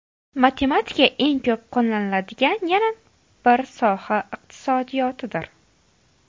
Matematika eng ko‘p qo‘llaniladigan yana bir soha iqtisodiyotdir.